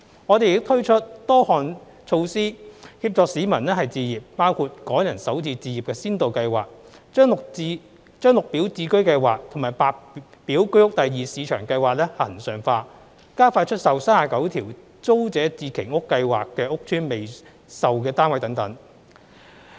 我們亦推出多項措施協助市民置業，包括"港人首次置業"先導項目、將綠表置居計劃和白表居屋第二市場計劃恆常化、加快出售39條租者置其屋計劃屋邨的未售單位等。